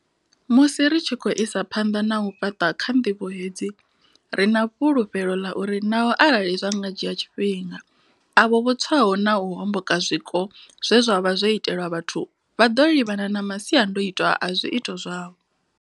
Musi ri tshi khou isa phanḓa na u fhaṱa kha ndivho hedzi, ri na fhulufhelo ḽa uri naho arali zwa nga dzhia tshifhinga, avho vho tswaho na u homboka zwiko zwe zwa vha zwo itelwa vhathu vha ḓo livhana na masiandaitwa a zwiito zwavho.